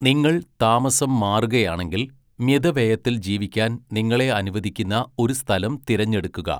നിങ്ങൾ താമസം മാറുകയാണെങ്കിൽ, മിതവ്യയത്തിൽ ജീവിക്കാൻ നിങ്ങളെ അനുവദിക്കുന്ന ഒരു സ്ഥലം തിരഞ്ഞെടുക്കുക.